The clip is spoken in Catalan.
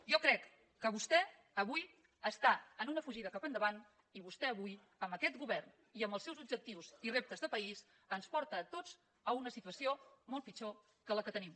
jo crec que vostè avui està en una fugida cap endavant i vostè avui amb aquest govern i amb els seus objectius i reptes de país ens porta a tots a una situació molt pitjor que la que tenim